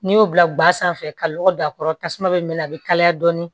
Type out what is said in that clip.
N'i y'o bila ba sanfɛ ka lɔgɔ don a kɔrɔ tasuma bɛ mɛn a bɛ kalaya dɔɔnin